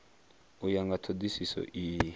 u ya nga thodisiso iyi